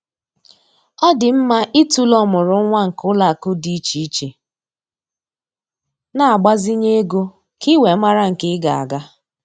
Ọ dị mma ịtụlee ọmụrụnwa nke ụlọakụ dị iche iche na-agbazinye ego ka ị wee mara nke ị ga-aga